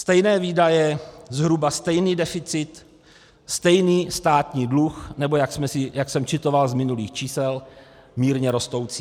Stejné výdaje, zhruba stejný deficit, stejný státní dluh, nebo, jak jsem citoval z minulých čísel, mírně rostoucí.